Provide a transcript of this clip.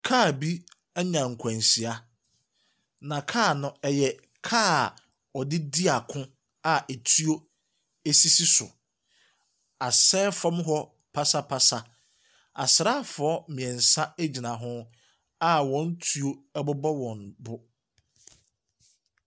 Kaa bi anya nkwanhyia, na kaa no yɛ kaa a wɔde di ako a etuo sisi so. Asɛe fam hɔ pasapasa. Asraafoɔ mmeɛnsa gyina ho a wɔn tuo bobɔ wɔn bo.